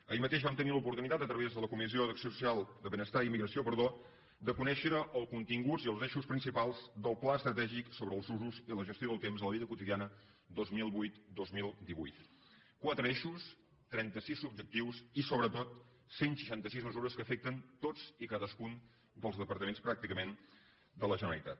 ahir mateix vam tenir l’oportunitat a través de la comissió de benestar i immigració de conèixer els continguts i els eixos principals del pla estratègic sobre els usos i la gestió del temps a la vida quotidiana dos mil vuitdos mil divuit quatre eixos trenta sis objectius i sobretot cent i seixanta sis mesures que afecten tots i cadascun dels departaments pràcticament de la generalitat